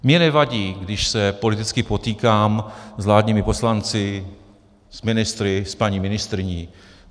Mně nevadí, když se politicky potýkám s vládními poslanci, s ministry, s paní ministryní.